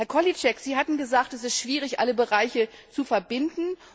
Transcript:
Herr Kohlíček, Sie hatten gesagt, es sei schwierig, alle Bereiche zu verbinden.